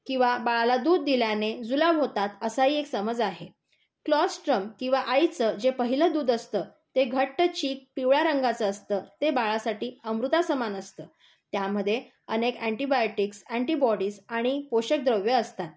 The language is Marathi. किंवा बाळाला दूध दिल्याने जुलाब होतात असाही एक समज आहे. क्लोस्त्रोम किंवा आईचा जे पहिले दूध असते, ते घट्ट चिक पिवळ्या रंगाचे असते. ते बाळसाठी अमृतसमान असते. त्यामध्ये अनेक अॅंटी बायोटिक्स, अॅंटी बोडिज आणि पोषक द्रव्ये असतात.